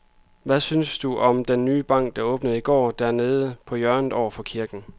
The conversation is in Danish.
Hvad synes du om den nye bank, der åbnede i går dernede på hjørnet over for kirken?